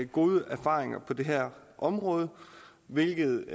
gode erfaringer på det her område hvilket